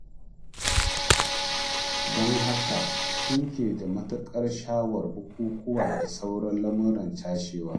Don haka suke da matuƙar sha'awar bukukuwa da sauran lamuran cashewa.